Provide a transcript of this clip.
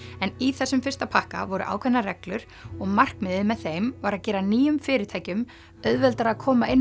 en í þessum fyrsta pakka voru ákveðnar reglur og markmiðið með þeim var að gera nýjum fyrirtækjum auðveldara að koma inn